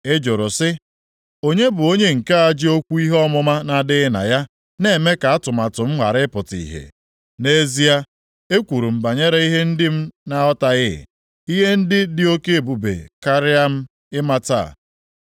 Ị jụrụ sị, ‘Onye bụ onye nke a ji okwu ihe ọmụma na-adịghị na ya na-eme ka atụmatụ m ghara ịpụta ihe?’ Nʼezie, ekwuru m banyere ihe ndị m na-aghọtaghị, ihe ndị dị oke ebube karịa m ịmata.